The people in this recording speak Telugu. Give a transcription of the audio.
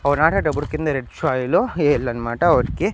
అవి నాటేటప్పుడు కింద రెడ్ సాయిల్ ఎయ్యాలనమాట వాటికి.